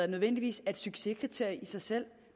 nødvendigvis er et succeskriterium i sig selv